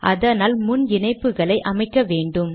அதற்கு முன் இணைப்புகளை அமைக்க வேண்டும்